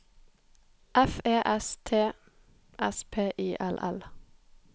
F E S T S P I L L